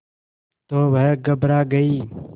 तो वह घबरा गई